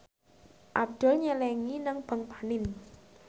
Abdul nyelengi nang bank panin